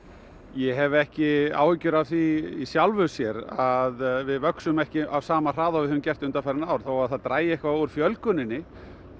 ég hef ekki áhyggjur af því í sjálfu sér að við vöxum ekki á sama hraða og við höfum gert undanfarin ár þótt það dragi eitthvað úr fjölguninni